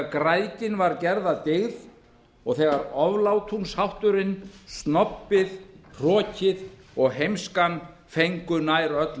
græðgin var gerð að dyggð og þegar oflátungshátturinn snobbið hrokinn og heimskan fengu nær öll